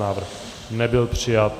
Návrh nebyl přijat.